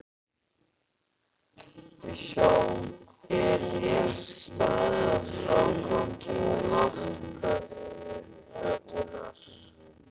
Er rétt staðið að frágangi loftplötunnar?